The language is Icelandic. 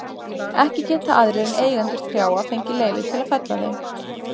Ekki geta aðrir en eigendur trjáa fengið leyfi til að fella þau.